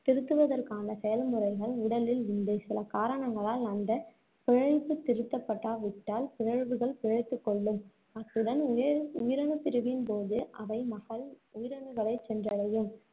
திருத்துவதற்கான செயல்முறைகள் உடலில் உண்டு. சில காரணங்களால் அந்தப் திருத்தப்படாவிட்டால், பிறழ்வுகள் பிழைத்துக் கொள்ளும். அத்துடன் உயிரணு~ உயிரணுப்பிரிவின்போது அவை மகள் உயிரணுகளைச் சென்றடையும்.